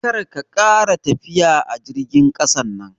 Karka ƙara tafiya a jirgin ƙasan nan.